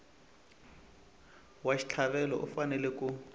wa xitlhavelo u fanele ku